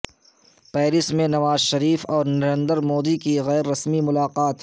Paris میں نواز شریف اور نریندر مودی کی غیر رسمی ملاقات